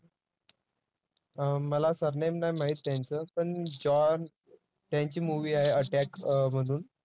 मला surname नाही माहीत त्यांचं, पण जॉन त्यांची movie आहे attack म्हणून